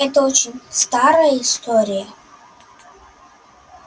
это очень старая история